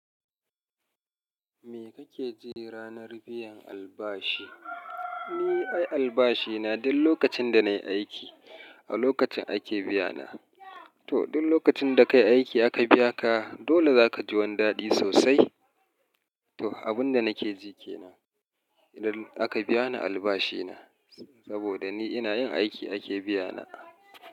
Me kake ji ranar biyan albashi? Ni ai albashina duk lokacin da nayi aiki, a lokacin ake biyana. To duk lokacin da kayi aiki aka biya ka dole zaka ji wani dadi sosai. To abun da nake ji ke nan idan aka biya ni albashina saboda ni ina yin aiki ake biyana.